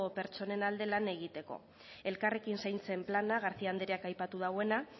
pertsonen alde lan egiteko elkarrekin zaintzen plana garcía andreak aipatu duena